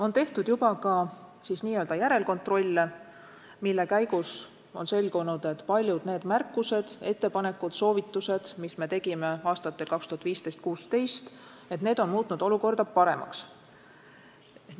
On tehtud juba ka järelkontrolle, mille käigus on selgunud, et paljud märkused, ettepanekud ja soovitused, mis me tegime aastatel 2015 ja 2016, on olukorda paremaks muutnud.